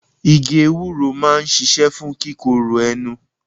Igi ewúro máa ń ṣíṣe fún kíkorò ẹnu.